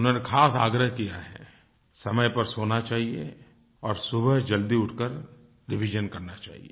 उन्होंने ख़ास आग्रह किया हैं समय पर सोना चाहिए और सुबह जल्दी उठकर रिविजन करना चाहिए